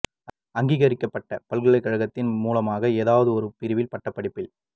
அங்கீகரிக்கப்பட்ட பல்கலைக் கழகத்தின் மூலமாக ஏதாவது ஒரு பிரிவில் பட்டப் படிப்பில்